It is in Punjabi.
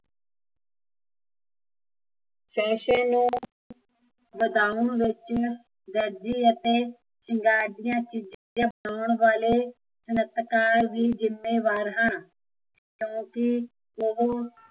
ਫੈਸ਼ਨ ਨੂੰ ਵਧਾਉਣ ਵਿੱਚ, ਦਰਜੇ ਅਤੇ ਸ਼ਿੰਗਾਰ ਦੀਆ ਚੀਜ਼ਾਂ ਪਾਉਣ ਵਾਲੇ ਸਨਤਕਾਰ ਵੀ ਜਿੱਮੇਵਾਰ ਹਨ ਕਿਓਕਿ ਉਹ